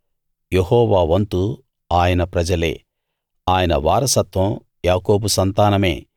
యెహోవా వంతు ఆయన ప్రజలే ఆయన వారసత్వం యాకోబు సంతానమే